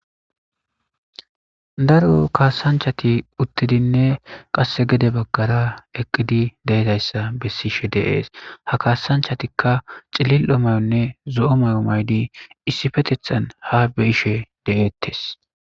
Daro kaasanchati uttidinne qasse gede baggara eqqidi deedayssa bessishe de7ees ha kaasanchatikka cilil7o mayonne zo7o mayo mayidi issifetethan ha be7ishe de7eettes.